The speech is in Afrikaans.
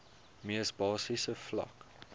mees basiese vlak